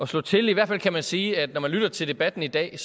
slå til i hvert fald kan man sige at når man lytter til debatten i dag